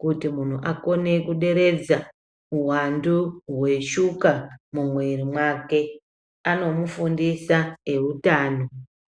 kuti muntu akone kuderedza uwantu hweshuka mumwiri mwake anomufundisa eutano.